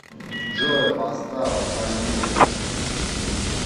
джой поставь танир